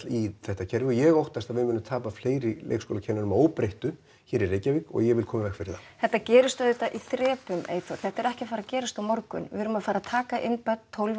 í þetta kerfi og ég óttast að við munum tapa fleiri leikskólakennurum að óbreyttu hér í Reykjavík og ég vil koma í veg fyrir það þetta gerist auðvitað í þrepum Eyþór þetta er ekki að fara að gerast á morgun við erum að fara að taka inn börn tólf